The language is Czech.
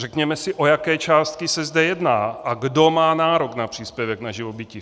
Řekněme si, o jaké částky se zde jedná a kdo má nárok na příspěvek na živobytí.